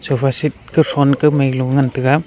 sofa seat kothong ko mai galo ngantaga.